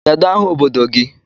Kedụ aha obodo gị?